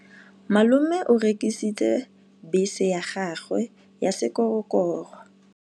Malome o rekisitse bese ya gagwe ya sekgorokgoro.